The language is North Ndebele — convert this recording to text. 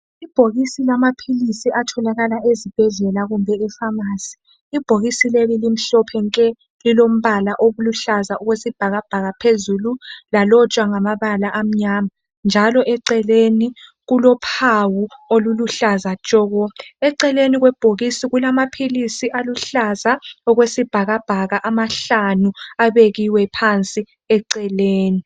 Ibhokisi lama philisi atholakala esibhedlela kumbe efamasi ibhokisi leli limhlophe nke lilombala oluhlaza okwesibhakabhaka phezulu lalotshwa ngamabala amnyama njalo eceleni kulophawu oluluhlaza tshoko eceleni kwebhokisi kulamaphilisi aluhlaza okwesibhakabhaka amahlanu abekiwe phansi eceleni.